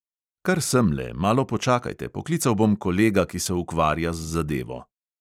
"Kar semle, malo počakajte, poklical bom kolega, ki se ukvarja z zadevo."